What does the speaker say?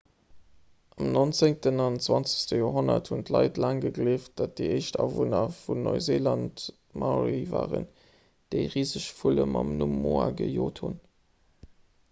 am 19 an 20 joerhonnert hunn d'leit laang gegleeft datt déi éischt awunner vun neuseeland d'maorie waren déi riseg vulle mam numm moa gejot hunn